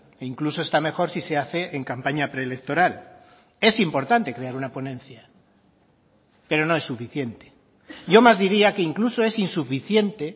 e incluso está mejor si se hace en campaña preelectoral es importante crear una ponencia pero no es suficiente yo más diría que incluso es insuficiente